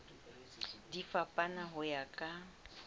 di fapana ho ya ka